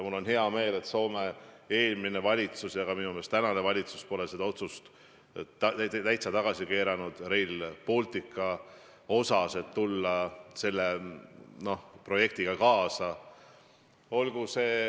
Mul on hea meel, et Soome eelmine valitsus ja minu meelest ka tänane valitsus pole täiesti tagasi keeranud otsust tulla Rail Balticu projektiga kaasa.